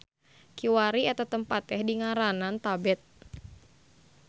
Kiwari eta tempat teh dingaranan Tabet.